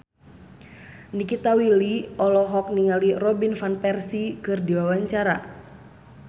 Nikita Willy olohok ningali Robin Van Persie keur diwawancara